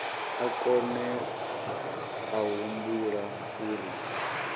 a kone a humbula uri